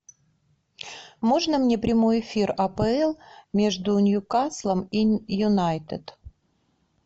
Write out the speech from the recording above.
можно мне прямой эфир апл между ньюкаслом и юнайтед